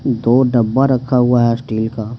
दो डब्बा रखा हुआ है स्टील का।